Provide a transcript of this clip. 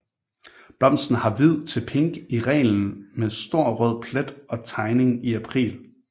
Blomsten er hvid til pink i reglen med stor rød plet og tegning i april